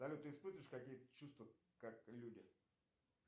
салют ты испытываешь какие то чувства как люди